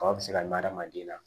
Kaba bɛ se ka mɛn adamaden na